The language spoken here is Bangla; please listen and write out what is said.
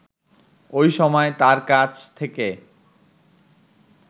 ওই সময় তার কাছ থেকে